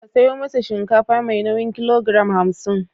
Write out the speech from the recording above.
Ka sayo masa shinkafa mai nauyin kilogoram hamsin.